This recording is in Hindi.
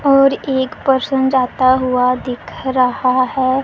और एक परसन जाता हुआ दिख रहा है।